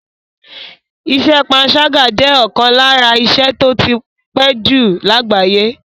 Iṣẹ́ panṣágà jẹ́ ọ̀kan lára iṣẹ́ tó ti pé jù lágbàáyé.